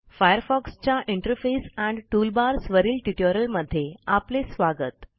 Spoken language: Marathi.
Firefoxच्या इंटरफेस एंड टूलबार्स वरील ट्युटोरियलमध्ये आपले स्वागत